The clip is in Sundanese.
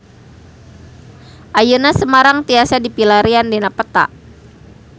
Ayeuna Semarang tiasa dipilarian dina peta